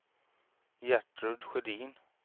Gertrud Sjödin